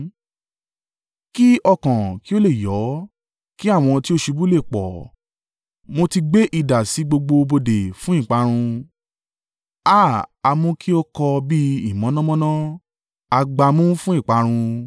Kí ọkàn kí ó lè yọ́ kí àwọn tí ó ṣubú le pọ̀, mo ti gbé idà sí gbogbo bodè fún ìparun. Háà! A mú kí ó kọ bí ìmọ̀nàmọ́ná, a gbá a mú fún ìparun.